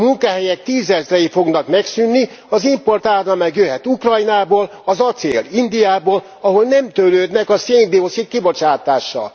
Munkahelyek tízezrei fognak megszűnni, az importáram meg jöhet Ukrajnából, az acél Indiából, ahol nem törődnek a szén dioxid kibocsátással.